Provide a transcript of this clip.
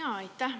Aitäh!